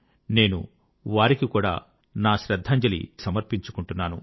నేను వారికి కూడా నేడు నా శ్రద్ధాంజలి సమర్పించుకుంటున్నాను